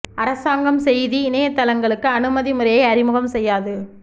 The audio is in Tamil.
அரசாங்கம் செய்தி இணையத் தளங்களுக்கு அனுமதி முறையை அறிமுகம் செய்யாது